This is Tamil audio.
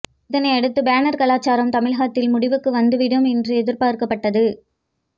இதனை அடுத்து பேனர் கலாச்சாரம் தமிழகத்தில் முடிவுக்கு வந்துவிடும் என்று எதிர்பார்க்கப்பட்டது